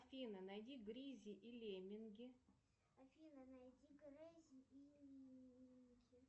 афина найди гризли и лемминги